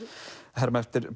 herma eftir